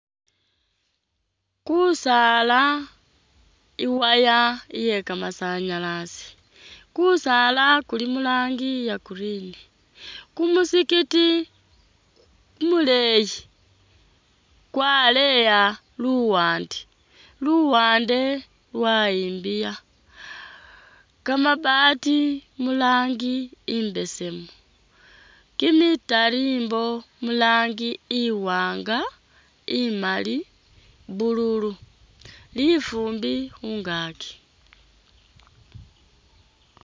Ku saala,i wire iye ka masanyalazi, ku saala kuli mu rangi iya green, ku muzikiti ku muleeyi kwa leya luwande luwande lwa yimbiya, ka mabaati mu rangi imbesemu, ki mitalimbo mu rangi iwanga ,imali, blue lu lufumbi khungakyi.